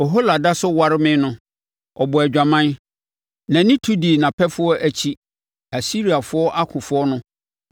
“Ohola da so ware me no, ɔbɔɔ adwaman; nʼani tu dii nʼapɛfoɔ akyi, Asiriafoɔ, akofoɔ no